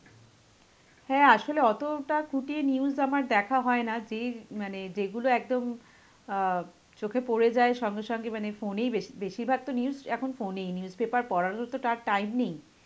হ্যাঁ আসলে অতটা খুঁটিয়ে news আমার দেখা হয় না, যেই য~ মানে যেইগুলো একদম অ্যাঁ চোখে পড়ে যায় সঙ্গে সঙ্গে, মানে phone এই বেশি~ বেশিরভাগ তো news এখন phone এই, newspaper পড়ার মতন তার time নেই.